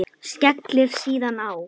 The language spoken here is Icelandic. Skellir síðan á.